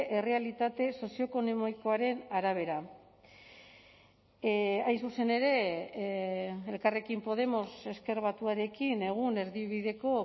errealitate sozioekonomikoaren arabera hain zuzen ere elkarrekin podemos ezker batuarekin egun erdibideko